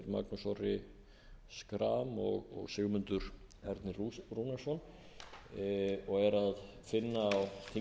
magnús orri schram og sigmundur ernir rúnarsson og er að finna á þingskjali númer